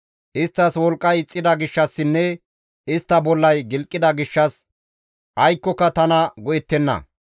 Isttas wolqqay ixxida gishshassinne istta bollay gilqida gishshas aykkoka tana go7ettenna.